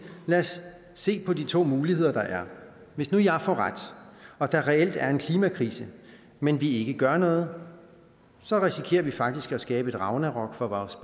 lad os se på de to muligheder der er hvis nu jeg får ret og der reelt er en klimakrise men vi ikke gør noget så risikerer vi faktisk at skabe et ragnarok for vores